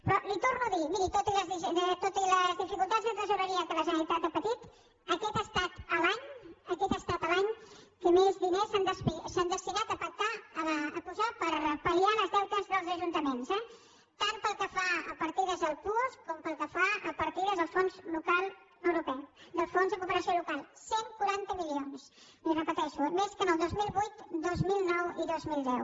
però li ho torno a dir miri tot i les dificultats de tresoreria que la generalitat ha patit aquest ha estat l’any aquest ha estat l’any que més diners s’han destinat per pal·liar els deutes dels ajuntaments eh tant pel que fa a partides del puosc com pel que fa a partides del fons local europeu o del fons de cooperació local cent i quaranta milions li ho repeteixo més que en el dos mil vuit el dos mil nou i el dos mil deu